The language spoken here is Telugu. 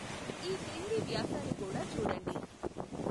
ఈ క్రింది వ్యాసాలు కూడా చూడండి.